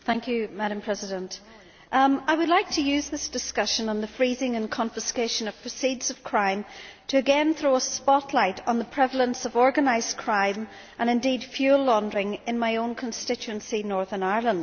Madam President, I would like to use this discussion on the freezing and confiscation of proceeds of crime to again throw a spotlight on the prevalence of organised crime and, indeed, fuel laundering in my own constituency of Northern Ireland.